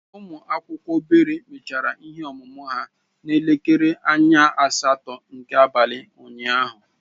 Ụmụ akwụkwọ obere mechara ihe ọmụmụ ha n'elekere anya asatọ nke abalị unyaahụ.